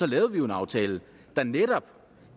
lavede vi jo en aftale der netop